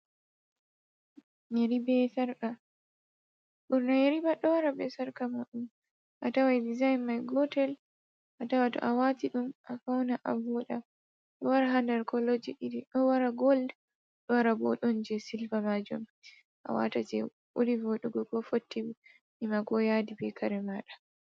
Yeri be sarka, ɓurna yeri pat ɗo wara be sarka muuɗum. A taway dizayin may gotel ,a tawa to a waati ɗum a fawna a wooɗa. Ɗo wara haa nder koloji iri iri, ɗo wara gool, ɗo wara bo ɗon jey silva maajum .A waata jey ɓuri voɗugo ko fotti nima, ko yaadi be kare maaɗa.